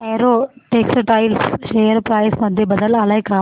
Arrow Textiles share price मध्ये बदल आलाय का